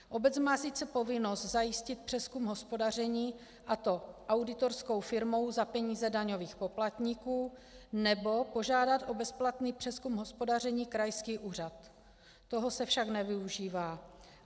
Obec má sice povinnost zajistit přezkum hospodaření, a to auditorskou firmou za peníze daňových poplatníků, nebo požádat o bezplatný přezkum hospodaření krajský úřad, toho se však nevyužívá.